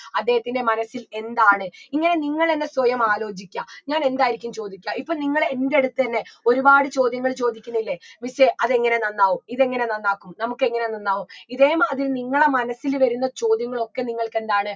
അദ്ദേഹത്തിൻറെ മനസ്സിൽ എന്താണ് ഇങ്ങനെ നിങ്ങൾ തന്നെ സ്വയം ആലോചിക്കുക ഞാൻ എന്തായിരിക്കും ചോദിക്കുക ഇപ്പൊ നിങ്ങൾ എൻ്റെടുത്തെന്നെ ഒരുപാട് ചോദ്യങ്ങൾ ചോദിക്കുന്നില്ലേ miss ഏ അതെങ്ങനെ നന്നാവും ഇതെങ്ങനെ നന്നാക്കും നമുക്കെങ്ങനെ നന്നാവും ഇതേ മാതിരി നിങ്ങളെ മനസ്സിൽ വരുന്ന ചോദ്യങ്ങളൊക്കെ നിങ്ങൾക്കെന്താണ്